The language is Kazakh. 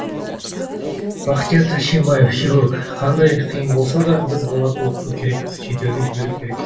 бахтияр тәшкенбаев хирург қандай қиын болса да біз балаларды оқыту керекпіз шетелге жіберу керекпіз